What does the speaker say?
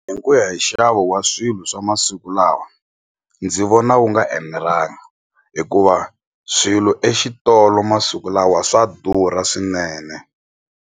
Hi ku ya hi nxavo wa swilo swa masiku lawa ndzi vona wu nga enelanga hikuva swilo exitolo masiku lawa swa durha swinene.